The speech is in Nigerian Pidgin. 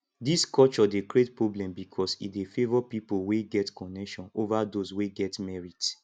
dis culture dey create problem because e dey favor people wey get connection over those wey get merit